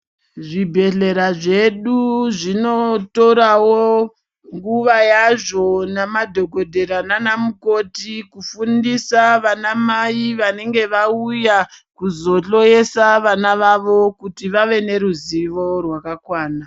Zvibhedhlera zvedu zvinotorawo, nguva yazvo namadhokodhera naanamukoti kufundisa vanamai vanenge vauya kuzohloyesa vana vavo ,kuti vave neruzivo rwakakwana.